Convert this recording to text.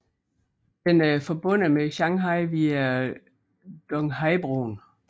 Den er forbundet med Shanghai via Donghaibroen